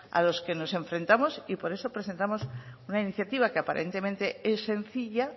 a las que nos enfrentamos y por eso presentamos una iniciativa que aparentemente es sencilla